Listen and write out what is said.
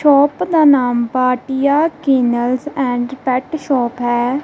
Shop ਦਾ ਨਾਮ Bhatia kennels and pet shop ਹੈ।